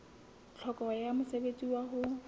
tlhokeho ya mosebetsi wa ho